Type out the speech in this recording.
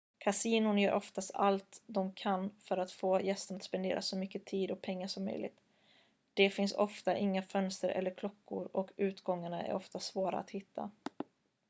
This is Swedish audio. kasinon gör oftast allt de kan för att få gästerna att spendera så mycket tid och pengar som möjligt det finns ofta inga fönster eller klockor och utgångarna är ofta svåra att hitta